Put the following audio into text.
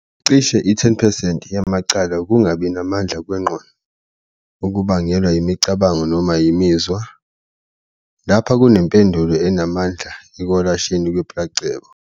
Cishe i-10 percent yamacala ukungabi namandla kwengqondo, okubangelwa yimicabango noma imizwa, lapha, kunempendulo enamandla ekwelashweni kwe-placebo.